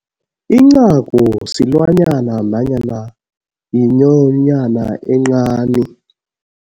Incagu silwanyana nanyana yinyonyana encani.